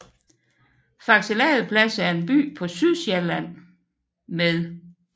Faxe Ladeplads er en by på Sydsjælland med